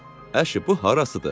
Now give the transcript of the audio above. "Əşi, bu harasıdır?